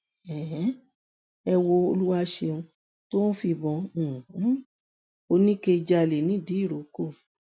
um ẹ wo olùwàṣẹun tó ń fìbọn um oníke jálẹ nìdírókò